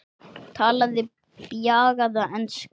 Talaði bjagaða ensku